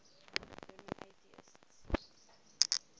german atheists